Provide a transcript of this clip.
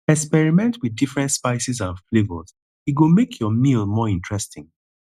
experiment with different spices and flavors e go make your meal more interesting